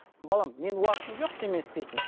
балам менің уақытым жоқ сенімен істейтін